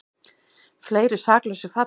Fleiri saklausir falla